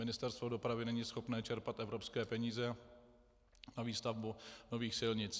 Ministerstvo dopravy není schopné čerpat evropské peníze na výstavbu nových silnic.